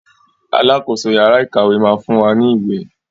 Alákoso yàrá ìkàwé máa fún wa ní ìwé.